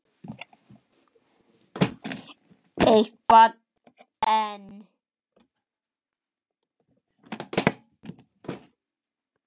Eitt barn enn?